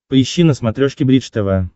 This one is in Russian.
поищи на смотрешке бридж тв